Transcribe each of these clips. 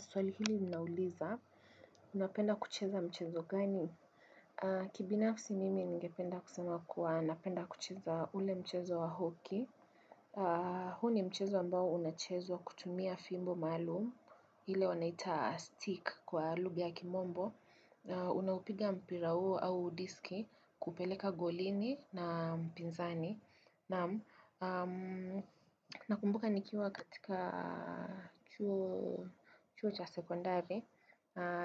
Swali hili linauliza. Unapenda kucheza mchezo gani? Kibinafsi mimi ningependa kusema kuwa napenda kucheza ule mchezo wa hoki. Huu ni mchezo ambao unachezwa kutumia fimbo maalum ile wanaita stick kwa lugha ya kimombo. Unaupiga mpira huo au diski kupeleka golini na mpinzani. Nakumbuka nikiwa katika chuo cha sekondare,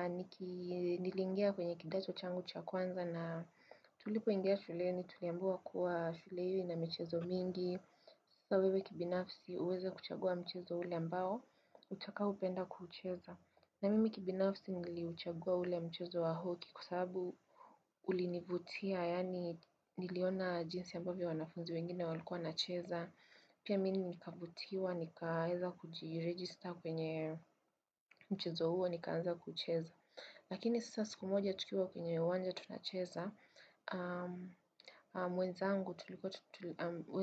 niliingia kwenye kidato changu cha kwanza na tulipoingia shuleni, tuliambiwa kuwa shule hiyo ina michezo mingi. Sasa wewe kibinafsi uweze kuchagua mchezo ule ambao, utakaopenda kuucheza. Na mimi kibinafsi niliuchagua ule mchezo wa hoki kwa sababu ulinivutia yani niliona jinsi ambavyo wanafunzi wengine walikuwa wanacheza. Pia mimi nikavutiwa, nikaweza kujiregister kwenye mchezo huo, nikaanza kucheza. Lakini sasa siku moja tukiwa kwenye uwanja tunacheza,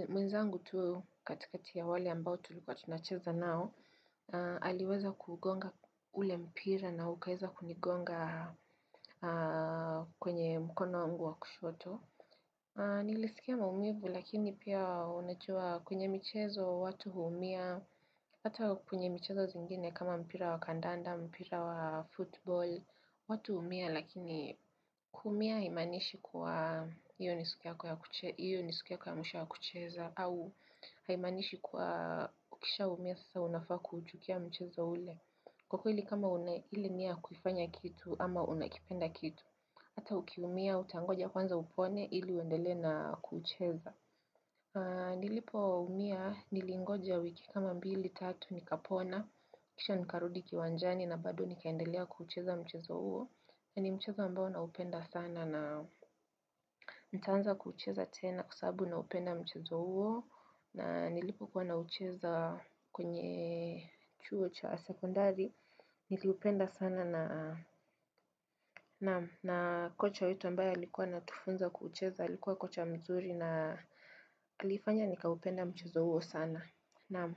mwenzangu tu katikati ya wale ambao tulikuwa tunacheza nao, aliweza kuugonga ule mpira na ukaweza kunigonga kwenye mkono wangu wa kushoto Nilisikia maumivu lakini pia unajua kwenye michezo watu huumia hata kwenye michezo zingine kama mpira wa kandanda, mpira wa football watu huumia lakini kuumia haimaanishi kuwa hiyo ni siku ya mwisho ya kucheza au haimaanishi kwa ukishaumia sasa unafaa kuchukia mchezo ule. Kwa kweli kama una ili nia kukifanya kitu ama unakipenda kitu. Hata ukiumia utangoja kwanza upone ili uendelee na kucheza. Nilipoumia, nilingoja wiki kama mbili tatu nikapona. Kisha nikarudi kiwanjani na bado nikaendelea kucheza mchezo huo. Ni mchezo ambao naupenda sana na nitaanza kuucheza tena kwa sababu naupenda mchezo huo. Na nilipokuwa naucheza kwenye chuo cha sekondari Niliupenda sana. Naam na kocha wetu ambaye alikuwa anatufunza kuucheza Alikuwa kocha mzuri na alifanya nikaupenda mchezo huo sana. Naam.